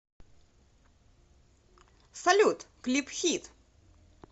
салют клип хит